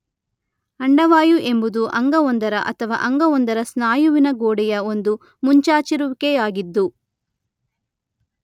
ಅಂಡವಾಯು ಎಂಬುದು ಅಂಗವೊಂದರ ಅಥವಾ ಅಂಗವೊಂದರ ಸ್ನಾಯುವಿನ ಗೋಡೆಯ ಒಂದು ಮುಂಚಾಚಿರುವಿಕೆಯಾಗಿದ್ದು